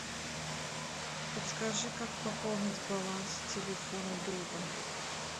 подскажи как пополнить баланс телефона друга